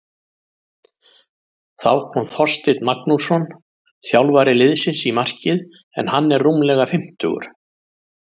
Þá kom Þorsteinn Magnússon þjálfari liðsins í markið en hann er rúmlega fimmtugur.